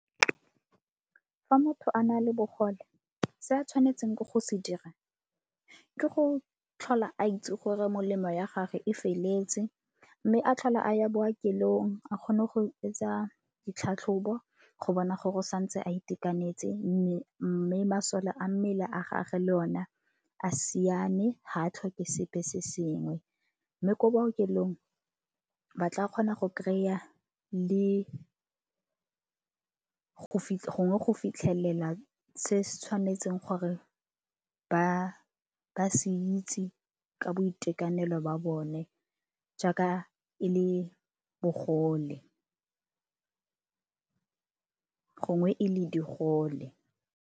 Fa motho a na le bogole se a tshwanetseng ke go se dira ke go tlhola a itse gore molemo ya gage e feleletse mme a tlhola a ya bookelong a kgone go etsa ditlhatlhobo go bona gore o sa ntse a itekanetse mme masole a mmele a gage le ona a simane ga a tlhoke sepe se sengwe. Mme ko bookelong ba tla kgona go kry-a le gongwe go fitlhelela se se tshwanetseng gore ba ba se itse ka boitekanelo ba bone jaaka e le bogole gongwe e le digole.